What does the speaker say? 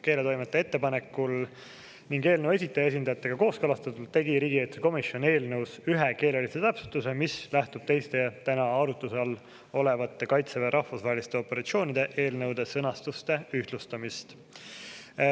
Keeletoimetaja ettepanekul ja eelnõu esitaja esindajatega kooskõlastatult tegi riigikaitsekomisjon eelnõus ühe keelelise täpsustuse, mis lähtub teiste täna arutluse all olevate Kaitseväe rahvusvaheliste operatsioonide eelnõude sõnastuste ühtlustamisest.